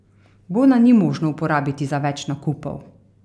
Bona ni možno uporabiti za več nakupov.